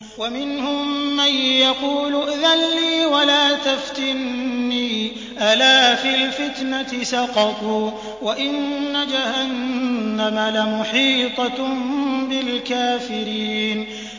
وَمِنْهُم مَّن يَقُولُ ائْذَن لِّي وَلَا تَفْتِنِّي ۚ أَلَا فِي الْفِتْنَةِ سَقَطُوا ۗ وَإِنَّ جَهَنَّمَ لَمُحِيطَةٌ بِالْكَافِرِينَ